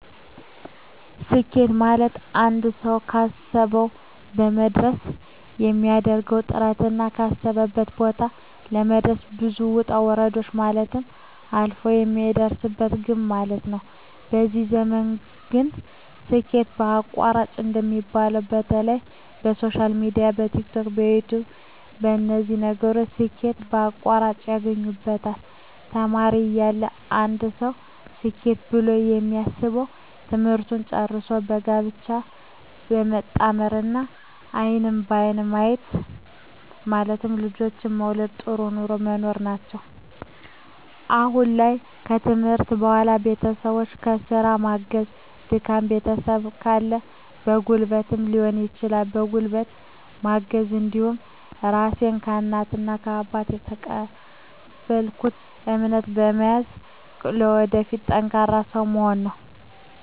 ስኬት ማለትአንድ ሰዉ ካሰዉ ለመድረስ የሚያደርገዉ ጥረትና ካሰበበት ቦታ ለመድረስ ብዙ ዉጣ ዉረዶችን ማለፍ አልፍ የሚደርስበት ግብ ማለት ነዉ በዚህ ዘመን ግን ስኬት በአቋራጭ እንደሚባለዉ በተለይ በሶሻል ሚድያ በቲክቶክ በዩትዩብ በነዚህ ነገሮች ስኬት በአቋራጭ ያገኙበታል ተማሪ እያለ አንድ ሰዉ ስኬት ብሎ የሚያስበዉ ትምህርትን ጨርሶ በጋብቻ መጣመርና አይንን በአይን ማየት ማለትም ልጆችን መዉለድ ጥሩ ኑሮ መኖር ናቸዉ አሁን ላይ ከትምህርት በኋላ ቤተሰቦቸን በስራ ማገዝ ደካማ ቤተሰብ ካለ በጉልበትም ሊሆን ይችላል በጉልበት ማገዝ እንዲሁም ራሴን ከእናት ከአባት የተቀበልኩትን እምነት በመያዝ ለወደፊት ጠንካራ ሰዉ መሆን ነዉ